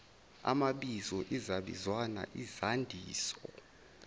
amabizo izabizwana izandiso